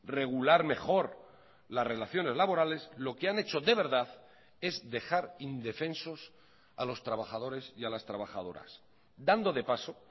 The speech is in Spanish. regular mejor las relaciones laborales lo que han hecho de verdad es dejar indefensos a los trabajadores y a las trabajadoras dando de paso